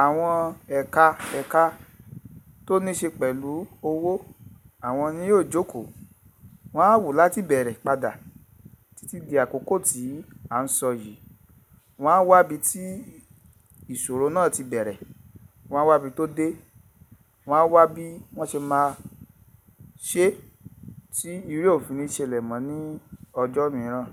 àwọn ẹ̀ka ẹ̀ka tó níí ṣe pẹ̀lú owó àwọn ni yóò jókòó. Wọn á wòó láti bẹ̀rẹ̀ padà títí di àkókò tí à ń sọ yìí. Wọn á wá ibi tí ìṣòro náà ti bẹ̀rẹ̀, wọ́n á wá ibi tó dé, wọ́n á wá bí wọ́n ṣe máa ṣe tí irú ẹ̀ ò fi ni ṣelẹ̀ mọ́ ní ọjọ́ mìíràn.